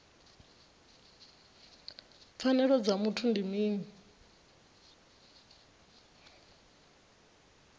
pfanelo dza muthu ndi mini